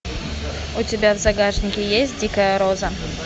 у тебя в загашнике есть дикая роза